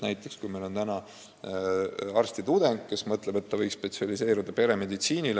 Näiteks meil on täna arstitudeng, kes mõtleb, et ta võiks spetsialiseeruda peremeditsiinile.